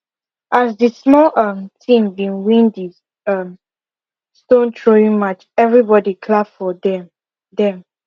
as the small um team been win the um stone throwing match every body clap for them them